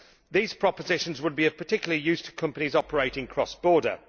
These propositions would be of particular use to companies operating cross border.